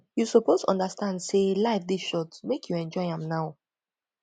you suppose understand sey life dey short make you enjoy am now